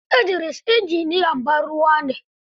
Idris injiniyan bar ruwa ne.